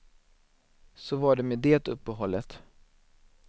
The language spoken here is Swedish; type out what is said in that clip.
Så var det med det uppehållet.